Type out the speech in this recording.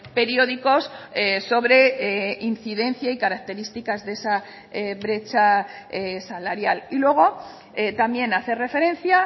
periódicos sobre incidencia y características de esa brecha salarial y luego también hace referencia